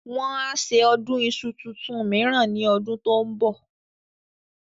Wọ́n á ṣe Ọdún iṣu tuntun mìíràn ní ọdún tó ń bọ̀